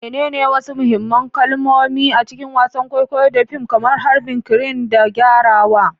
Menene wasu mahimman kalmomi a cikin wasan kwaikwayo da fim, kamar harbin crane da gyarawa?